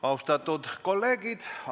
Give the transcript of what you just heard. Austatud kolleegid!